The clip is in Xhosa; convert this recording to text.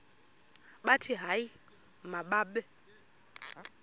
bathi hayi mababe